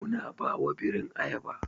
Muna ba ma birin ayaba.